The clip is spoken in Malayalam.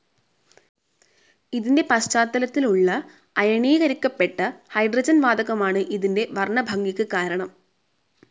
ഇതിന്റെ പശ്ചാത്തലത്തിലുള്ള അയണീകരിക്കപ്പെട്ട ഹൈഡ്രോജൻ വാതകമാണ് ഇതിന്റെ വർണ്ണഭംഗിക്ക് കാരണം.